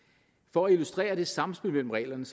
for at illustrere det sammenspil mellem reglerne